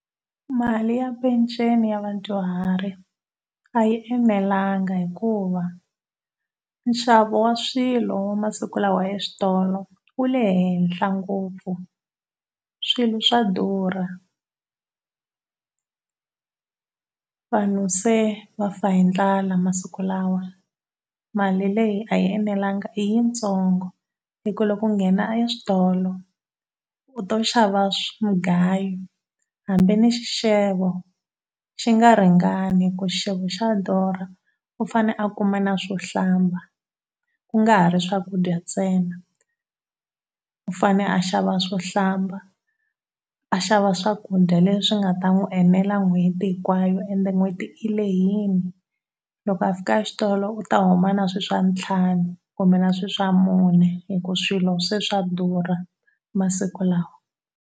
Mali ya peceni ya vadyuhari a yi enelanga hikuva nxavo wa swilo wa masiku lawa eswitolo wu le henhla ngopfu, swilo swa durha. Vanhu se va fa hi ndlala masiku lawa. Mali leyi a yi enelanga i yitsongo hi ku loko u nghena eswitolo u to xava mugayo hambi ni xixevo xi nga ringani hi ku xixevo xa durha, u fane a kuma na swo hlamba ku nga ha ri swakudya ntsena. U fane a xava swo hlamba, a xava swakudya leswi nga ta n'wi enela n'hweti hinkwayo ende n'hweti yi lehile. Loko a fika exitolo u ta huma na swilo swa ntlhanu kumbe na swilo swa mune hi ku swilo se swa durha masiku lawa.